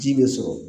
Ji be sɔrɔ